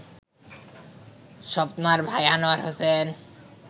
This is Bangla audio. স্বপ্নার ভাই আনোয়ার হোসেন